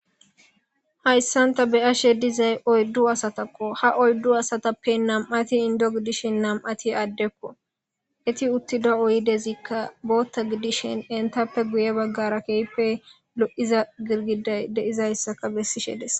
Hayssan ta beyashe dizay oyddu asatakko ha oyddu asatappe nam'atti indo gidishin nam'atti addekko eetti uttiz oyddezikka booththa gidishin entappe guye baggara keehippe lo'iza girgidaykka de'izayssa besishe dees